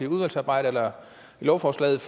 udvalgsarbejdet eller i lovforslaget